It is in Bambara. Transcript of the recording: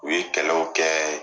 U ye kɛlɛw kɛ.